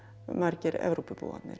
margir